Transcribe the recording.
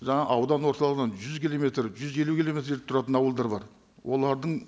жаңа аудан орталығынан жүз километр жүз елу километр жерде тұратын ауылдар бар олардың